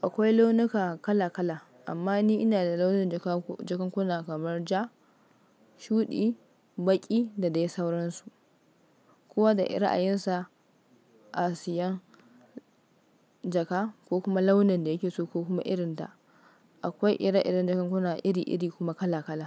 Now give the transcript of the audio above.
Akwai launuka kala kala, amma ni ina da launin jakankuna kamar ja, shuɗi, baƙi da dai sauransu. Kowa da irin ra'ayinsa asiyan jaka ko kuma launin da yake so ko kuma irin ta. Akwai ire-iren jakankuna iri-iri kuma kala-kala.